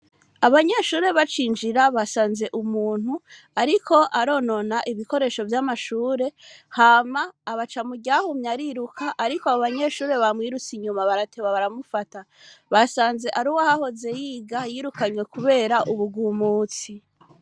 Abanyeshure bacinjira basanze umuntu ariko aronona ibikoresho vy’amashure hama abaca mu ryahumye ariruka ariko abo banyeshure bamwirutse inyuma barateba baramufata basanze ari uwahahoze yiga yirukanywe kubera ubugumutsi.